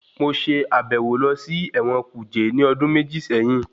Mo ṣe àbẹ̀wò lọ sí ẹ̀wọ̀n kuje ní ọdún méjì séyín.